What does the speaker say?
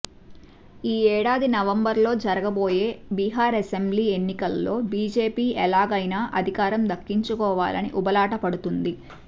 ఈ ఏడాది నవంబర్ లో జరుగబోయే బీహార్ అసెంబ్లీ ఎన్నికలలో బీజేపీ ఎలాగయినా అధికారం దక్కించుకోవాలని ఉబలాటపడుతోంది